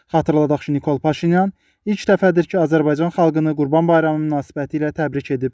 Xatırladaq ki, Nikol Paşinyan ilk dəfədir ki, Azərbaycan xalqını Qurban Bayramı münasibətilə təbrik edib.